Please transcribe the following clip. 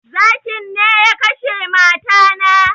Zakin ne ya kashe mata na